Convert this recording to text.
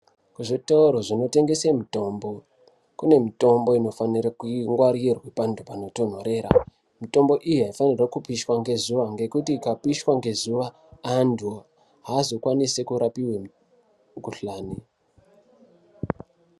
Zvitoro zvinotengesa mitombo kune mitombo inofanire kungwarirwe panotondorera mutombo iyi haifanirwi kupishwa ngezuva ngekuti ikapishwa ngezuva antu haazokwanisi kurapiwa mukuhlani.